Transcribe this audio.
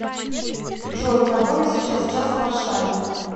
джой который сейчас час в варшаве